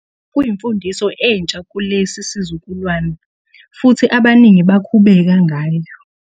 Kwakuyimfundiso entsha kulesi sizukulwane, futhi abaningi bakhubeka ngayo....